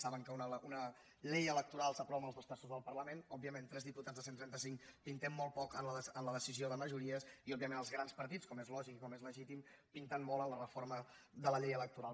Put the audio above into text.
saben que una llei electoral s’aprova amb els dos terços del parlament òbviament tres diputats de cent i trenta cinc pintem molt poc en la decisió de majories i òbviament els grans partits com és lògic com és legítim pinten molt en la reforma de la llei electoral